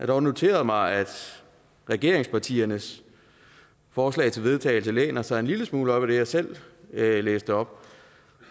dog noteret mig at regeringspartiernes forslag til vedtagelse læner sig en lille smule op ad det jeg selv læste op